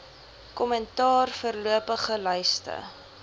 kommentaar voorlopige lyste